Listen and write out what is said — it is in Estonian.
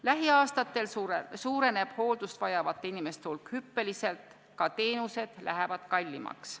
Lähiaastatel suureneb hooldust vajavate inimeste hulk hüppeliselt, ka teenused lähevad kallimaks.